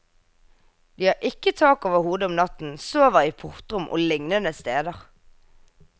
De har ikke tak over hodet om natten, sover i portrom og lignende steder.